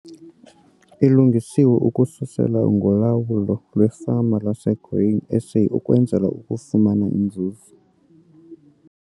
Ilungiswe ukususela kwizifundo ngoLawulo lweFama lwaseGrain SA ukwenzela ukufumana iNzuzo